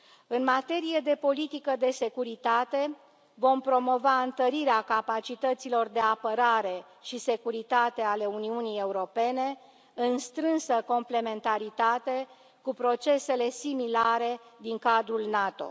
În materie de politică de securitate, vom promova întărirea capacităților de apărare și securitate ale Uniunii Europene, în strânsă complementaritate cu procesele similare din cadrul NATO.